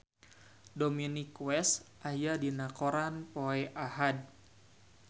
Dominic West aya dina koran poe Ahad